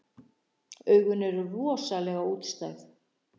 Augun eru rosalega útstæð.